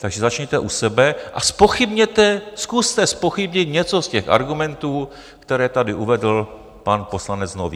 Takže začněte u sebe a zpochybněte, zkuste zpochybnit něco z těch argumentů, které tady uvedl pan poslanec Nový.